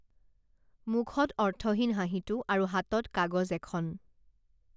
মুখত অৰ্থহীন হাঁহিটো আৰু হাতত কাগজ এখন